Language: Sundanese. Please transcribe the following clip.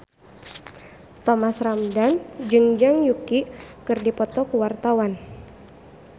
Thomas Ramdhan jeung Zhang Yuqi keur dipoto ku wartawan